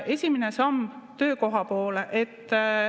Esimene samm: töökoha poole.